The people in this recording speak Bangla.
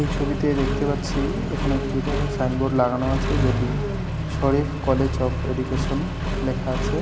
এই ছবিতে দেখতে পাচ্ছি এখানে একটি বড়ো সাইনবোর্ড লাগানো আছে। যেটি শরীফ কলেজ অফ এডুকেশন লেখা আছে।